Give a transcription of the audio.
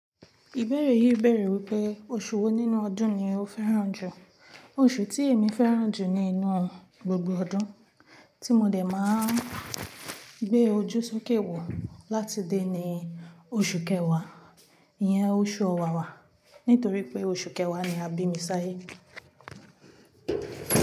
Ìbéèrè yìí bèèrè wípé oṣù wo nínú ọdún ni o fẹ́ràn jù. Oṣù tí èmi fẹ́ràn jù nínú gbogbo ọdún tí mo dè máa ń gbé ojúṣókè wọ̀ láti dé ni oṣù kẹwàá, ìyẹn oṣù Ọ̀wàwà. Nítorí pé oṣù kẹwàá ni a bí mi sa ayé.